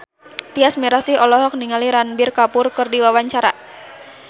Tyas Mirasih olohok ningali Ranbir Kapoor keur diwawancara